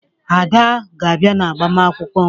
Ada ga-abịa ịgbanwkụ m